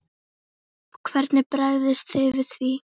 Hvernig bregðist þið við því?